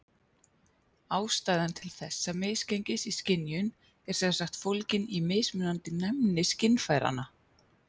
Ástæðan til þessa misgengis í skynjun er sem sagt fólgin í mismunandi næmni skynfæranna.